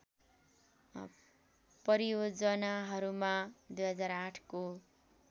परियोजनाहरूमा २००८ को